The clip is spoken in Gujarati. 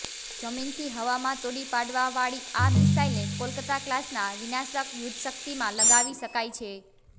જમીનથી હવામાં તોડી પાડવાવાળી આ મિસાઈલને કોલકત્તા ક્લાસના વિનાશક યુદ્ધશક્તિમાં લગાવી શકાય છે